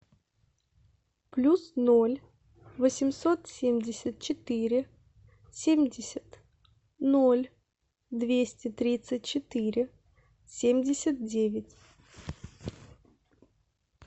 плюс ноль восемьсот семьдесят четыре семьдесят ноль двести тридцать четыре семьдесят девять